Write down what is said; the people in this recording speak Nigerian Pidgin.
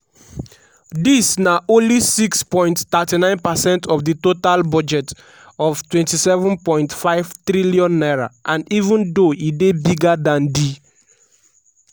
dis na only 6.39 percent of di total budget of n27.5 trillion and even though e dey bigger dan di